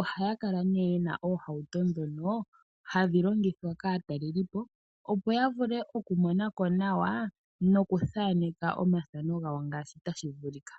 oha kala ne yena oohauto dhono hadhi longithwa kaatalelipo opo yavule oku monako nawa noku thaneka oomafano gawo ngaashi tashi vulika.